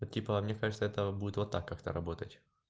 типа мне кажется это будет вот так как-то работать